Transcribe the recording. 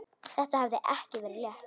Þetta hafði ekki verið létt.